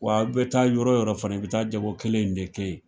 Wa aw bɛ taa yɔrɔ yɔrɔ fɛnɛ, i bi taa jago kelen in de kɛ yen.